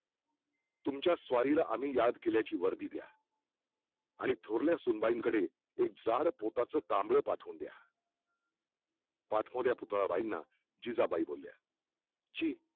तुमच्या स्वारीला आम्ही याद किल्याची वर्दी द्या आणि थोरल्या सुंबाईं कडे एक जाड पोताचं चामडं पाठवून द्या पाठमोऱ्या पुतळाबाईंना जिजाबाई बोलल्या जी